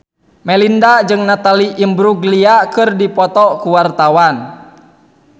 Melinda jeung Natalie Imbruglia keur dipoto ku wartawan